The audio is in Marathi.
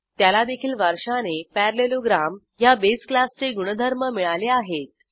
त्याला देखील वारशाने पॅरालेलोग्राम ह्या बेस क्लासचे गुणधर्म मिळाले आहेत